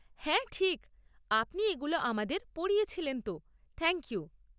হ্যাঁ, ঠিক, আপনি এগুলো আমাদের পড়িয়েছিলেন তো, থ্যাংক ইউ।